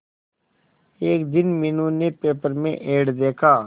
एक दिन मीनू ने पेपर में एड देखा